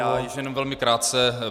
Já již jenom velmi krátce.